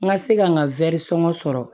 N ka se ka n ka wɛrisɔn sɔrɔ